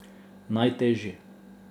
Najtežji?